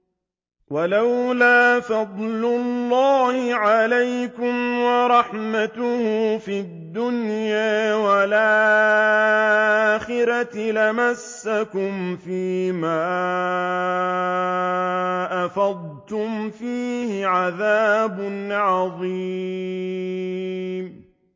وَلَوْلَا فَضْلُ اللَّهِ عَلَيْكُمْ وَرَحْمَتُهُ فِي الدُّنْيَا وَالْآخِرَةِ لَمَسَّكُمْ فِي مَا أَفَضْتُمْ فِيهِ عَذَابٌ عَظِيمٌ